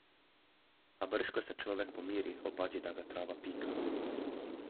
A brž ko se človek pomiri, opazi, da ga trava pika.